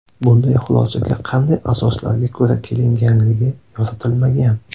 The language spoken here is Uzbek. Bunday xulosaga qanday asoslarga ko‘ra kelinganligi yoritilmagan.